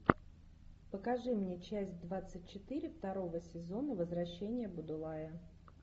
покажи мне часть двадцать четыре второго сезона возвращение будулая